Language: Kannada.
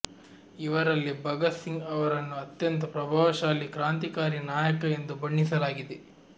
ಇವರಲ್ಲಿ ಭಗತ್ ಸಿಂಗ್ ಅವರನ್ನು ಅತ್ಯಂತ ಪ್ರಭಾವಶಾಲಿ ಕಾಂತ್ರಿಕಾರಿ ನಾಯಕ ಎಂದು ಬಣ್ಣಿಸಲಾಗಿದೆ